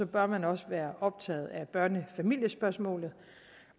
bør man også være optaget af børnefamiliespørgsmålet